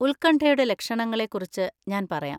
ഉത്കണ്ഠയുടെ ലക്ഷണങ്ങളെ കുറിച്ച് ഞാൻ പറയാം.